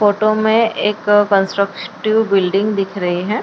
Photo में एक constructive building दिख रही है।